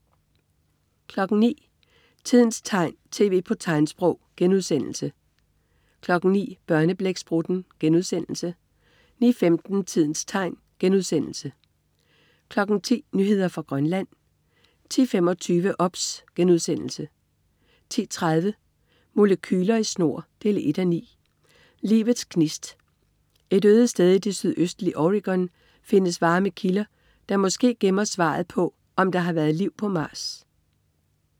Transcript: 09.00 Tidens tegn, tv på tegnsprog* 09.00 Børneblæksprutten* 09.15 Tidens tegn* 10.00 Nyheder fra Grønland 10.25 OBS* 10.30 Molekyler i snor 1:9. Livets gnist. Et øde sted i det sydøstlige Oregon findes varme kilder, der måske gemmer svaret på, om der har været liv på Mars